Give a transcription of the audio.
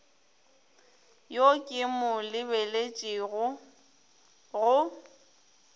yo ke mo lebeletšego go